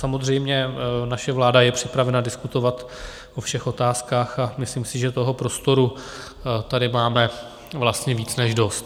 Samozřejmě naše vláda je připravena diskutovat o všech otázkách a myslím si, že toho prostoru tady máme vlastně víc než dost.